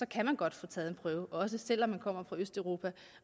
kan man godt få taget en prøve også selv om man kommer fra østeuropa